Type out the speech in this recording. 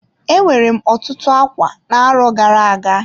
E nwere m otutu ákwá na-arọ gara-aga.